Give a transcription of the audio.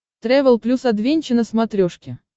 трэвел плюс адвенча на смотрешке